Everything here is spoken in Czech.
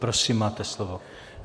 Prosím, máte slovo.